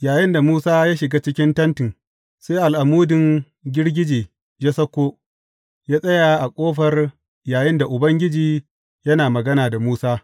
Yayinda Musa ya shiga cikin tentin, sai al’amudin girgije yă sauko, yă tsaya a ƙofar yayinda Ubangiji yana magana da Musa.